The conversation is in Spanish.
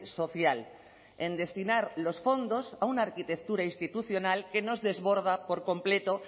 social en destinar los fondos a una arquitectura institucional que nos desborda por completo